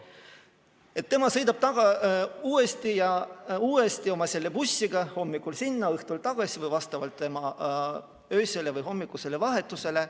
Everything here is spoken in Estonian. Nii et tema sõidab uuesti ja uuesti selle bussiga hommikul sinna, õhtul tagasi või vastavalt oma öisele või hommikusele vahetusele.